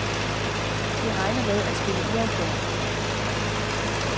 De regner med at spille uafgjort.